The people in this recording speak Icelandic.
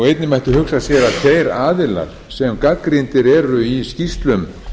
einnig mætti hugsa sér að þeir aðilar sem gagnrýndir eru í skýrslum